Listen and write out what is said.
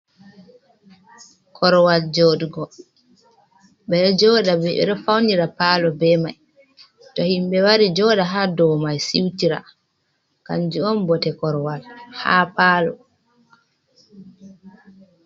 Korowal jodugo faunira palo, be mai to himɓe wari joda ha do mai siutira kanjum on bote korowal ha palo.